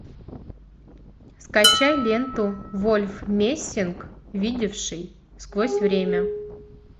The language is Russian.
скачай ленту вольф мессинг видевший сквозь время